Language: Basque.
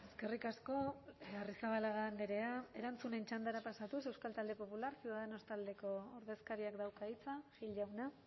eskerrik asko arrizabalaga andrea erantzunen txandara pasatuz euskal talde popular ciudadanos taldeko ordezkariak dauka hitza gil jauna